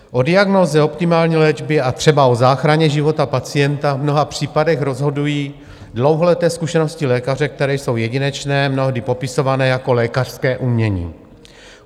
O diagnóze, optimální léčbě a třeba o záchraně života pacienta v mnoha případech rozhodují dlouholeté zkušenosti lékaře, které jsou jedinečné, mnohdy popisované jako lékařské umění.